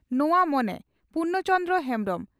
ᱱᱚᱣᱟ ᱢᱚᱱᱮ (ᱯᱩᱨᱱᱚ ᱪᱚᱱᱫᱨᱚ ᱦᱮᱢᱵᱽᱨᱚᱢ)